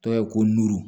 Dɔw ye ko nu